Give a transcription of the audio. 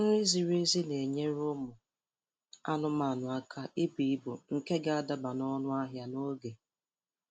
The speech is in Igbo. Nri ziri ezi na-enyere ụmụ anụmanụ aka ibu ibu nke ga-adaba n' ọnụ ahịa n' oge